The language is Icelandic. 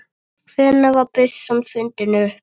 Hvenær var byssan fundin upp?